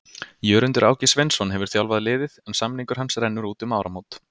Jörundur Áki Sveinsson hefur þjálfað liðið en samningur hans rennur út um áramót.